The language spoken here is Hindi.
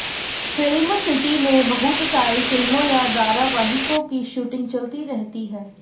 फ़िल्म सिटी में बहुत सारी फिल्मों या धारावाहिकों की शूटिंग चलती रहती है